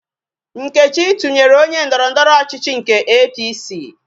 Nkechi tụnyere onye ndọrọndọrọ ọchịchị nke APC